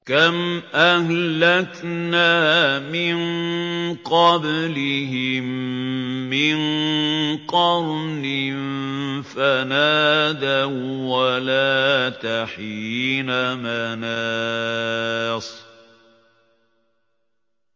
كَمْ أَهْلَكْنَا مِن قَبْلِهِم مِّن قَرْنٍ فَنَادَوا وَّلَاتَ حِينَ مَنَاصٍ